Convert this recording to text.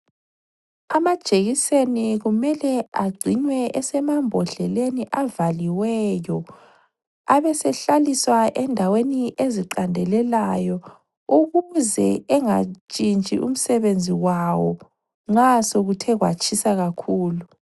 Amajekiseni kumele agcinwe esemambodleleni avaliweyo abe sehlaliswa endaweni eziqandelelayo ukuze engatshintshi umsebenzi wawo nxa sekuthe kwatshisa kakhulu.